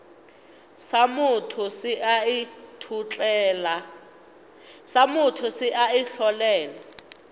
sa motho se a itlholela